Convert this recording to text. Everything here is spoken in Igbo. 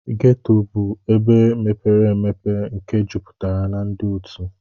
ghetto bu ebe mepere obere nke juputara na ndi otu.